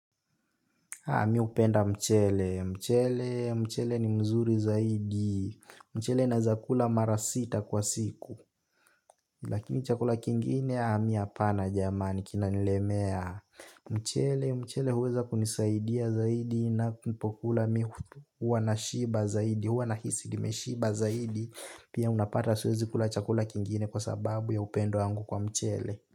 Haa miupenda mchele, mchele, mchele ni mzuri zaidi, mchele naeza kula mara sita kwa siku. Lakini chakula kingine haa mi hapana jamani kinanilemea. Mchele, mchele huweza kunisaidia zaidi na mpokula huwa nashiba zaidi, huwa nahisi nimeshiba zaidi. Pia unapata siwezi kula chakula kingine kwa sababu ya upendo wangu kwa mchele.